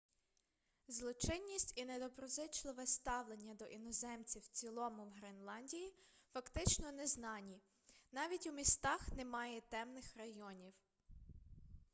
злочинність і недоброзичливе ставлення до іноземців в цілому в гренландії фактично незнані навіть у містах немає темних районів